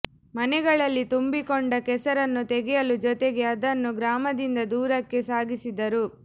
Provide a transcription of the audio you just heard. ಮನೆಗಳಲ್ಲಿ ತುಂಬಿಕೊಂಡ ಕೆಸರನ್ನು ತಗೆಯುವ ಜೊತೆಗ ಅದನ್ನು ಗ್ರಾಮದಿಂದ ದೂರಕ್ಕೆ ಸಾಗಿಸಿದರು